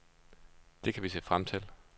Det kan vi se frem til.